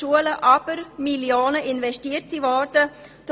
Augstburger hat dies bereits dargelegt.